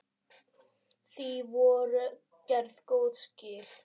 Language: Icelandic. Því voru gerð góð skil.